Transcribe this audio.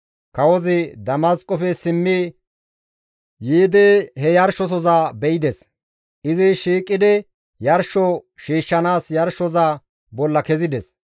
Kawozi Damasqofe simmi yiidi he yarshosohoza be7ides. Izi shiiqidi yarsho shiishshanaas yarshosoza bolla kezides.